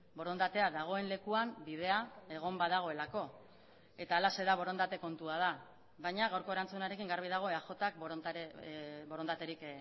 borondatea dagoen lekuan bidea egon badagoelako eta halaxe da borondate kontua da baina gaurko erantzunarekin garbi dago eajk borondaterik